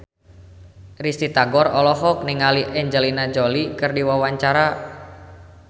Risty Tagor olohok ningali Angelina Jolie keur diwawancara